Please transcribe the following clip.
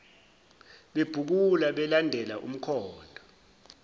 bebhukula belandela umkhondo